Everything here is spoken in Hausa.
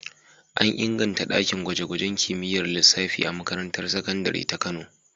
An inganta ɗakin gwaje-gwajen kimiyyar lissafi a makarantar sakandare ta Kano.